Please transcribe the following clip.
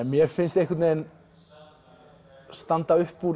mér finnst einhvern veginn standa upp úr